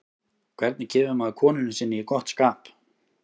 hvernig kemur maður konunni sinni í gott skap